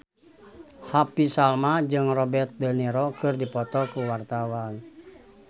Happy Salma jeung Robert de Niro keur dipoto ku wartawan